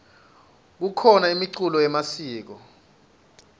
kukhona imiculo yemasiko